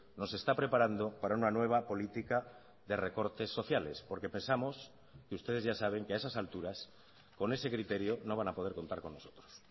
nos está preparando para una nueva política de recortes sociales porque pensamos que ustedes ya saben que a esas alturas con ese criterio no van a poder contar con nosotros